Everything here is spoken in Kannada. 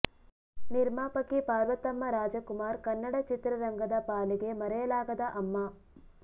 ನಿರ್ಮಾಪಕಿ ಪಾರ್ವತಮ್ಮ ರಾಜ್ ಕುಮಾರ್ ಕನ್ನಡ ಚಿತ್ರರಂಗದ ಪಾಲಿಗೆ ಮರೆಯಲಾಗದ ಅಮ್ಮ